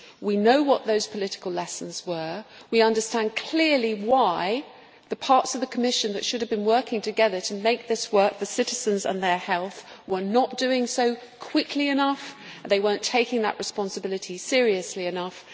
we know what the political lessons were we understand clearly why the parts of the Commission that should have been working together, to make this work for citizens and their health, were not doing so quickly enough and not taking their responsibility seriously enough